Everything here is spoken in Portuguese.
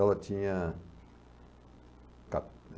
Ela tinha